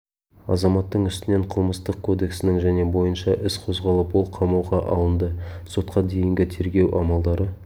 азаматтың үстінен қылмыстық кодексінің және бойынша іс қозғалып ол қамауға алынды сотқа дейінгі тергеу амалдары